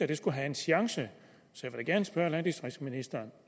det skulle have en chance så jeg vil gerne spørge landdistriktsministeren